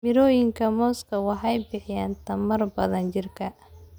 Mirooyinka muuska waxay bixiyaan tamar badan jidhka.